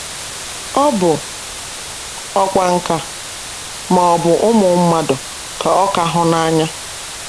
Ọ bụ ọkwa nkà, ma, ọ bụ ụmụ mmadụ ka ọ ka hụ n’anya.